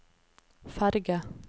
ferge